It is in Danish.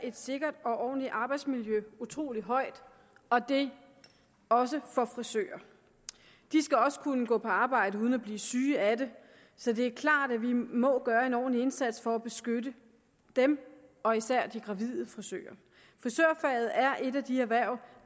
et sikkert og ordentligt arbejdsmiljø utrolig højt og det også for frisører de skal også kunne gå på arbejde uden at blive syge af det så det er klart at vi må gøre en ordentlig indsats for at beskytte dem og især de gravide frisører frisørfaget er et af de erhverv